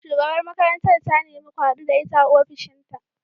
Shugabar makarantar ta nemi ku hadu da ita a ofishinta.